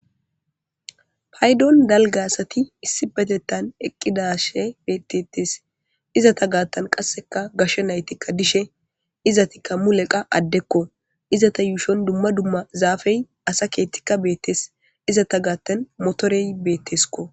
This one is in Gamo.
paydon dalga asati issi betettan eqqidashe beettetes izata gaattan qasseka gasho naytikka dishe izatikka muleqa addekko izata yuushon dumma dumma zaafey asa keettikka beettes izata gaattan motorey beettesko